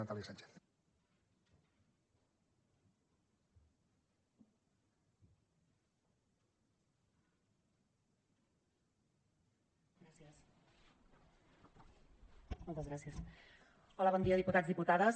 hola bon dia diputats diputades